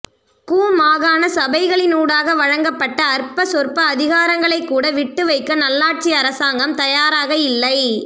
கு மாகாண சபைகளினூடாக வழங்கப்பட்ட அற்பசொற்ப அதிகாரங்களைக்கூட விட்டுவைக்க நல்லாட்சி அரசாங்கம் தயாராக இல்லை